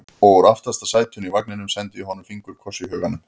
Og úr aftasta sætinu í vagninum sendi ég honum fingurkoss í huganum.